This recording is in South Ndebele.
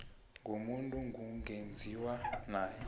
komuntu kungenziwa nawe